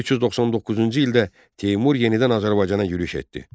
1399-cu ildə Teymur yenidən Azərbaycana yürüş etdi.